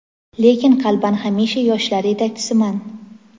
Lekin qalban hamisha yoshlar yetakchisiman.